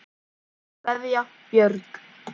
Kveðja, Björg.